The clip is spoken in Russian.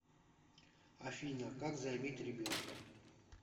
афина как заиметь ребенка